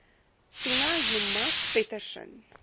tina joemat pettersson